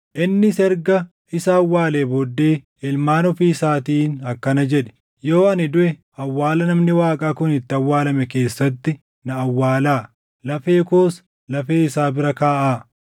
Innis erga isa awwaalee booddee ilmaan ofii isaatiin akkana jedhe; “Yoo ani duʼe awwaala namni Waaqaa kun itti awwaalame keessatti na awwaalaa; lafee koos lafee isaa bira kaaʼaa.